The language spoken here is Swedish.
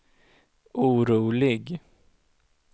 orolig